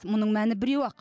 мұның мәні біреу ақ